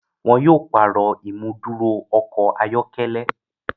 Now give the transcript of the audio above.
Wọn yóò pààrọ̀